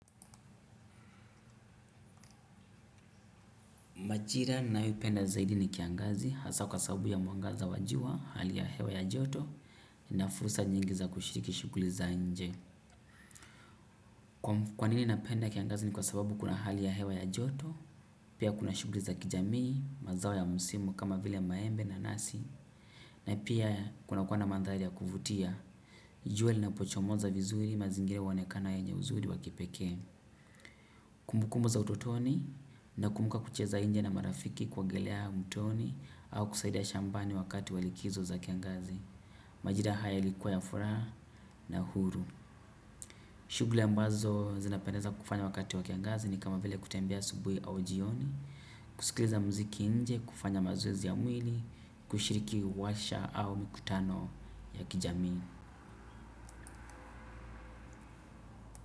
Majira ninayoipenda zaidi ni kiangazi hasa kwa sababu ya mwangaza wa jua, hali ya hewa ya joto, na fursa nyingi za kushiriki shuguli za nje. Kwa nini napenda kiangazi ni kwa sababu kuna hali ya hewa ya joto, pia kuna shuguli za kijamii, mazao ya musimu kama vile maembe nanasi, na pia kuna kuwa na mandhari ya kuvutia. Jua linapochomoza vizuri mazingira huonekana yenye uzuri wa kipekee. Kumbukumbu za ututoni nakumbuka kucheza inje na marafiki kuogelea mtoni au kusaidia shambani wakati wa likizo za kiangazi. Majira haya ilikuwa ya furaha na huru. Shugli ambazo zinapendeza kufanya wakati wa kiangazi ni kama vile kutembea asubui au jioni. Kusikiliza mziki inje, kufanya mazoezi ya mwili, kushiriki washa au mikutano ya kijamii.